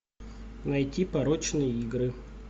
найти порочные игры